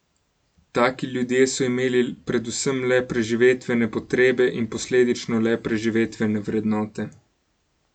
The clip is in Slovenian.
Taki ljudje so imeli predvsem le preživetvene potrebe in posledično le preživetvene vrednote.